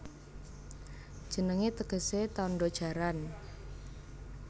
Jenengé tegesé Tandha Jaran